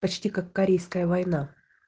почти как корейская война